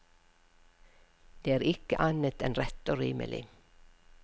Det er ikke annet enn rett og rimelig.